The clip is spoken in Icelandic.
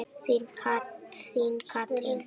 Þín, Katrín.